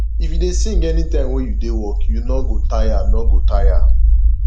if you dey sing anytime wey you dey work you no go tire no go tire